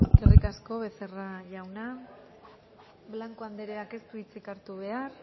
eskerrik asko becerra jauna blanco andereak ez du hitzik hartu behar